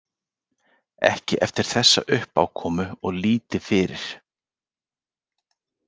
Ekki eftir þessa uppákomu og lítið fyrir.